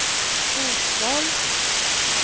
fotboll